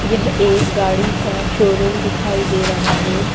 यह एक गाड़ी का शो रूम दिखाई दे रहा है।